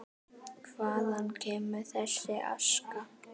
Hvaðan kemur þessi aska?